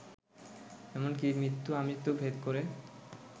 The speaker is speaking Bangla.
এমনকি মৃত্যু-আমৃত্যু ভেদ করে